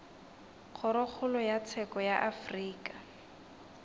kgorokgolo ya tsheko ya afrika